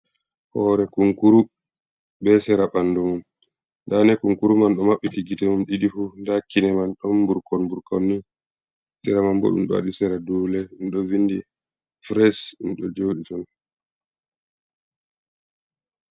Hoore kunkuru be sera ɓanndu mum, dani kunkuru man ɗo maɓɓiti gite mum ɗiɗi fu, ndaa kine man ɗon mburkon mburkonni .Sera man bo ɗum ɗo waɗi sera dule, ɗo vindi fures ɗum ɗo jooɗi ton.